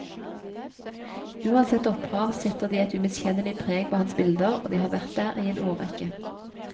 Uansett opphav setter de et umiskjennelig preg på hans bilder og de har vært der i en årrekke.